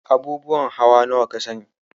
Abubuwan hawa nawa ka sani?